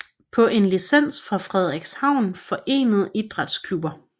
På en licens fra Frederikshavn forenede Idrætsklubber